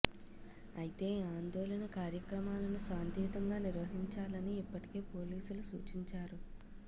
అయితే ఆందోళన కార్యక్రమాలను శాంతియుతంగా నిర్వహించాలని ఇప్పటికే పోలీసులు సూచించారు